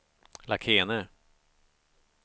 Lakene